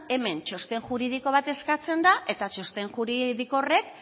hemen txosten juridiko bat eskatzen da eta txosten juridiko horrek